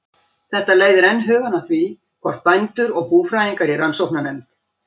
Þetta leiðir enn hugann að því, hvort bændur og búfræðingar í rannsóknarnefnd